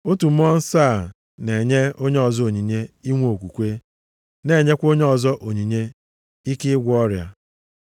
Otu Mmụọ nsọ a na-enye onye ọzọ onyinye inwe okwukwe, na-enyekwa onye ọzọ onyinye inwe ike ịgwọ ọrịa.